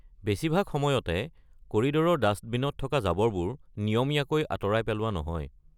বেছিভাগ সময়তে, কৰিড’ৰৰ ডাষ্টবিনত থকা জাবৰবোৰ নিয়মীয়াকৈ আঁতৰাই পেলোৱা নহয়।